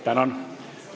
Tänan!